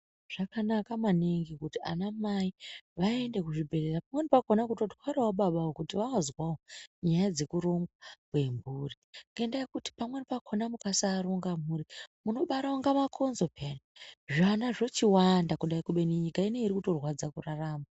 Zvakanaka maningi kuti ana mai vaende kuzvibhedhera pamweni pakona kutotwarawo baba kuti vanozwawo nyaya dzekurongwa kwemhuri ngekuti pamweni pachona mukasaronga mhuri munobara kunge makonzo peyani zvana zvochiwanda kubeni nyika ineyi irikutorwadza kurarama.